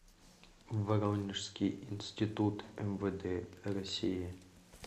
воронежский институт мвд россии